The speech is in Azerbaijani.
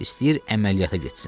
İstəyir əməliyyata getsin.